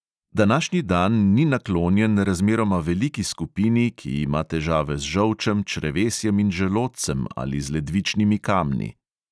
Današnji dan ni naklonjen razmeroma veliki skupini, ki ima težave z žolčem, črevesjem in želodcem ali z ledvičnimi kamni.